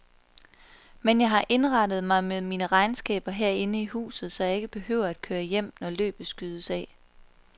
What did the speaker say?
Men jeg har indrettet mig med mine regnskaber herinde i huset, så jeg ikke behøver at køre hjem, når løbet skydes af.